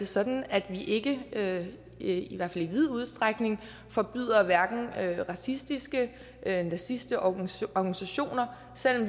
sådan at vi ikke ikke i hvert fald i vid udstrækning forbyder hverken racistiske eller nazistiske organisationer organisationer selv